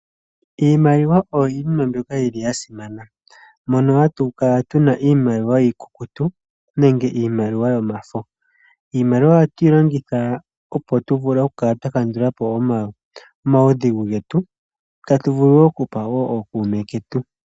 Iimaliwa oyoyimwe mbyoka yili yasimana mono hatukala tuna iimaliwa iikukutu nenge iimaliwa yomafo, iimaliwa ohatuyilongitha opo tuvule tukala twakandulapo omawudhigu getu tatuvulu wo okupa ookuume ketu.